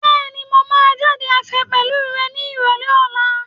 Bẹ́ẹ̀ni, mo máa jáde afẹ́ pẹ̀lú rẹ̀ ní Ìrọ̀lẹ́ ọ̀la.